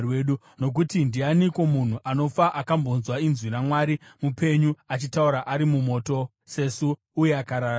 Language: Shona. Nokuti ndianiko munhu anofa akambonzwa inzwi raMwari mupenyu achitaura ari mumoto, sesu, uye akararama?